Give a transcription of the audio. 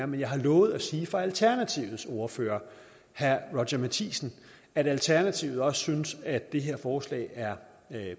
men jeg har lovet at sige fra alternativets ordfører herre roger matthisen at alternativet også synes at det her forslag er